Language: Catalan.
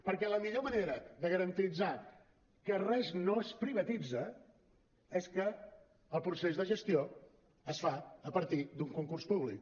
perquè la millor manera de garantir que res no es privatitza és que el procés de gestió es fa a partir d’un concurs públic